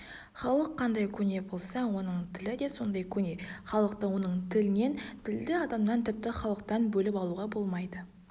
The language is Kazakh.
халық қандай көне болса оның тілі де сондай көне халықты оның тілінен тілді адамнан тіпті халықтан бөліп алуға болмайды